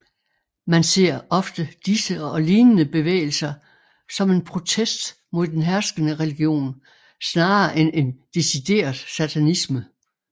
Man ser ofte disse og lignende bevægelser som en protest mod den herskende religion snarere end en decideret satanisme